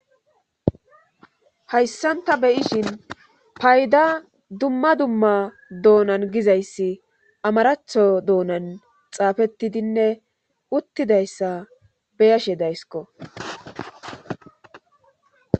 Hayssanta beyishin payda dumma dumma doonan gizayssi amaratho doonan xaafettidinne uttidayssa beyashe daysiko.